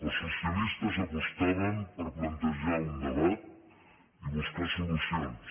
els socialistes apostaven per plantejar un debat i buscar solucions